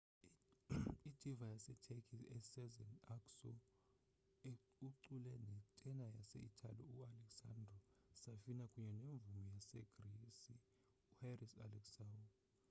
i-diva yaseturkey usezen aksu ucule ne tena yase itali u-alessandro safina kunye nemvumi yasegrisi u-haris alexiou